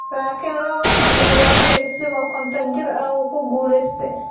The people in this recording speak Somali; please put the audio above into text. Laakiin lawo kuun iyo lawadhi , isagoo konton jir ah, wuu ku guulaystay.